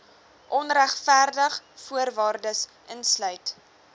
onregverdig voorwaardes uitsluit